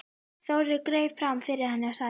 Þórður greip fram fyrir henni og sagði